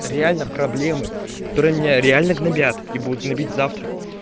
реально проблемы которые меня реально гнобят и будут гнабить завтра